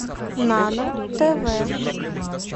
нано тв